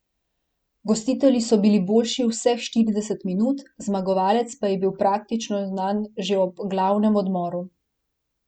Gostitelji so bili boljši vseh štirideset minut, zmagovalec pa je bil praktično znan že ob glavnem odmoru.